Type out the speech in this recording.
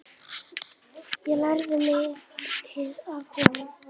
Ég lærði mikið af honum.